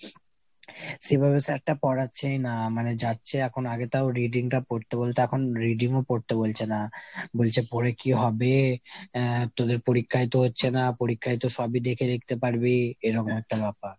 সেভাবে sir টা পড়াচ্ছেই না। মানে যাচ্ছে এখন, আগে তাও reading টা পড়তে বলতো, এখন তো reading ও পড়তে বলছে না। বলছে পরে কী হবে ? আহ তোদের তো পরীক্ষাই হচ্ছে না, পরীক্ষায় তো সবই দেখে লিখতে পারবি এরকম একটা ব্যাপার।